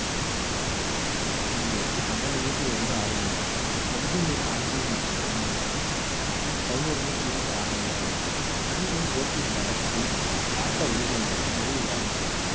பெண்களுக்கு பன்னெண்டு metre லிருந்து ஆறு metre sub junior ஆண்கள் மற்றும் பெண்களுக்கு பதினொரு metre லிருந்து ஆறு metre நடுவிலும் போட்டி நடத்தி ஆட்ட விதிகளின்படி முடிவு வாங்குவார்